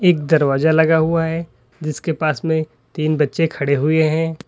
एक दरवाजा लगा हुआ है जिसके पास में तीन बच्चे खड़े हुए हैं।